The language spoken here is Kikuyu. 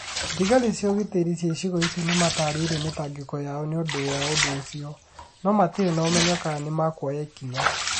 Thigari cia ugĩtĩri cia icigo icio nĩ matarĩirie mĩtangĩko yao nĩ ũndũ wa ũndũ ũcio. No matirĩ na ũmenyo kana nĩ makuoya ikinya.